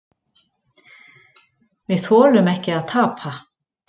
Við þolum ekki að tapa.